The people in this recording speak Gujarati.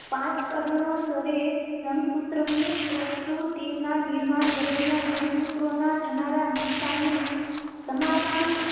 પાંચ કારણોસર એ રંગસૂત્રોની પ્રતિકૃતિ ના નિર્માણ દરમિયાન રંગસૂત્રોને ના થનારા નુકસાન નું સમારકામ